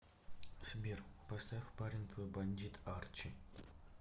сбер поставь парень твой бандит арчи